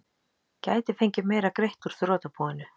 Gæti fengið meira greitt úr þrotabúinu